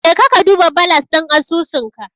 Jeka ka duba balas ɗin asusunka.